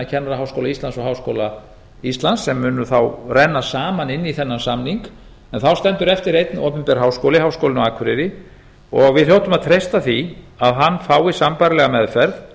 kennaraháskóla íslands og háskóla íslands sem munu þá renna saman inn í þennan samning en þá stendur eftir einn opinber háskóli háskólinn á akureyri og við hljótum að treysta því að hann fái sambærilega meðferð